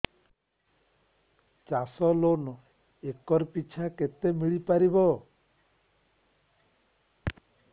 ଚାଷ loan acre ପିଛା କେତେ ମିଳି ପାରିବ